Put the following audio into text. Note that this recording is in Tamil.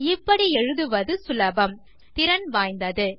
இப்படி எழுதுவது சுலபம் திறன் வாய்ந்தது